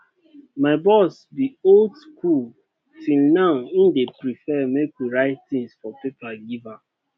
my boss be old school till now im dey prefer make we write things for paper give am